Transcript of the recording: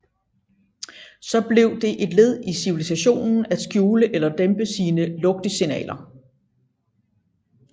Så blev det et led i civilisationen at skjule eller dæmpe sine lugtsignaler